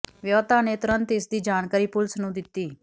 ਵਿਆਹੁਤਾ ਨੇ ਤੁਰੰਤ ਇਸ ਦੀ ਜਾਣਕਾਰੀ ਪੁਲੀਸ ਨੂੰ ਦਿੱਤੀ